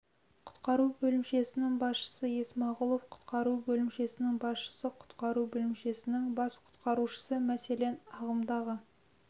құтқару бөлімшесінің басшысы есмағұлов құтқару бөлімшесінің басшысы құтқару бөлімшесің бас құтқарушысы мәселен ағымдағы